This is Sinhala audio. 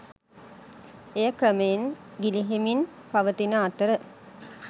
එය ක්‍රමයෙන් ගිලිහෙමින් පවතින අතර